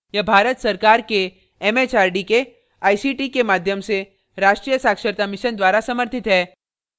यह भारत सरकार के एमएचआरडी के आईसीटी के माध्यम से राष्ट्रीय साक्षरता mission द्वारा समर्थित है